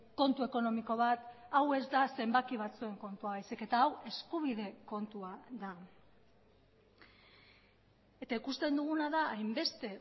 kontu ekonomiko bat hau ez da zenbaki batzuen kontua baizik eta hau eskubide kontua da eta ikusten duguna da hainbeste